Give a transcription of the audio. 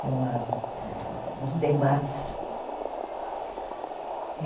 Tem uma, um uns debates.